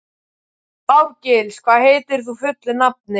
Árgils, hvað heitir þú fullu nafni?